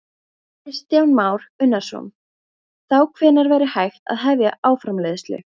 Kristján Már Unnarsson: Þá hvenær væri hægt að hefja álframleiðslu?